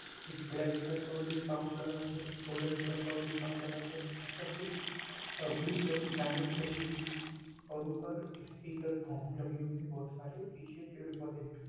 एक black colour का audio sound लगा है एक गोल्डन कलर का ऑडियो साउंड लगा है यहाँ पर कुछ अ ब्लू कलर की लाइने भी लगी हुईं है और ऊपर स्पीकर भोंपू लग है बहोत सारे पीछे पेड़ पौधे है।